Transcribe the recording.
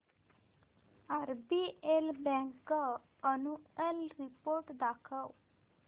RBL bank annual report दाखव